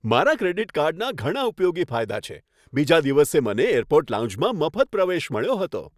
મારા ક્રેડિટ કાર્ડના ઘણા ઉપયોગી ફાયદા છે. બીજા દિવસે મને એરપોર્ટ લાઉન્જમાં મફત પ્રવેશ મળ્યો હતો.